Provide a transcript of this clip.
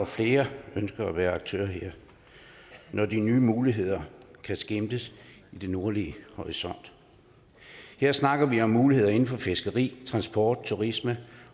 flere ønsker at være aktører her når de nye muligheder kan skimtes i den nordlige horisont her snakker vi om muligheder inden for fiskeri transport turisme